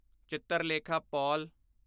Chitralekha Paul